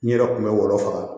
N yɛrɛ kun bɛ wɔlɔ